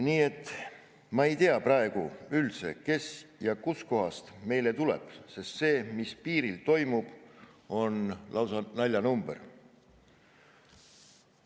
Meie ei tea praegu üldse, kes ja kust kohast meile tuleb, sest see, mis piiril toimub, on lausa naljanumber.